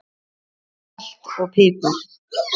Salt og pipar